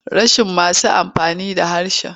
Rashin masu amfani da harshen.